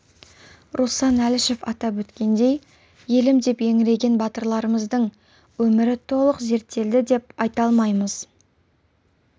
руслан әлішев атап өткендей елім деп еңіреген батырларымыздың өмірі толық зерттелді деп айта алмаймыз